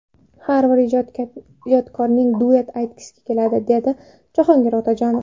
Har bir ijodkorning duet aytgisi keladi, dedi Jahongir Otajonov.